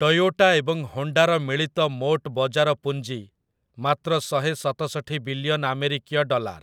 Toyota ଏବଂ ହୋଣ୍ଡାର ମିଳିତ ମୋଟ ବଜାର ପୁଞ୍ଜି ମାତ୍ର ଶହେସତଷଠି ବିଲିୟନ୍ ଆମେରିକୀୟ ଡଲାର୍ ।